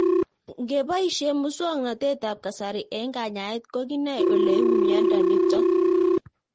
Ng'epoishe muswog'natet ab kasari eng' kanyaet ko kinae ole uu miondo nitok